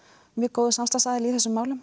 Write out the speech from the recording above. góður samstarfsaðili í þessum málum